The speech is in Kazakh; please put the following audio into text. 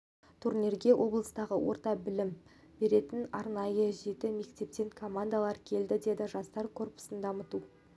турнирге облыстағы орта білім білім беретін арнайы жеті мектептен командалар келді деді жастар корпусын дамыту